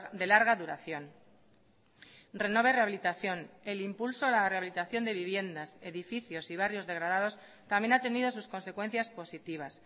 de larga duración renove rehabilitación el impulso a la rehabilitación de viviendas edificios y barrios degradados también ha tenido sus consecuencias positivas